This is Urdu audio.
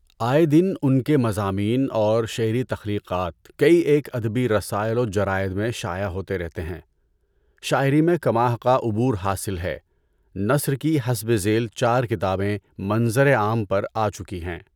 آئے دن ان کے مضامین اور شعری تخلیقات کئی ایک ادبی رسائل و جرائد میں شائع ہوتے رہتے ہیں۔ شاعری میں کما حقہ عبور حاصل ہے۔ نثر کی حسبِ ذیل چار کتابیں منظر عام پر آچکی ہیں۔